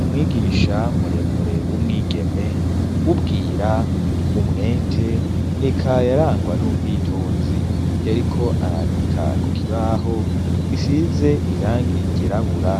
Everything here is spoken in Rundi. umwigisha muremure w'umwigeme wubwira umwete eka yarangwa n'ubwitonzi yariko arandika kukibaho gisize irangi ryirabura